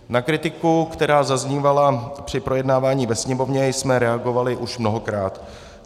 Na kritiku, která zaznívala při projednávání ve Sněmovně, jsme reagovali už mnohokrát.